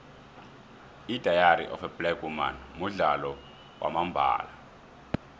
idairy of black women mudlalo wamambala